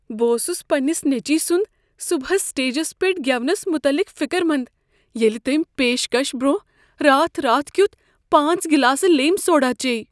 بہٕ اوسس پننِس نیٚچوۍ سنٛد صبحس سٹیجس پٮ۪ٹھ گیونس متعلق فکرمند ییٚلہ تمہِ پیشكش برونہہ راتھ راتھ كِیوٗتھ پانژھ گلاسہٕ لیمہِ سوڈا چیٚیہِ۔